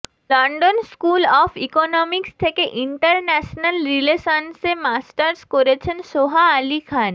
London School of Economics থেকে international রিলেশনসে masters করেছেন সোহা আলি খান